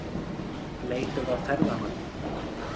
Leitað að ferðamanni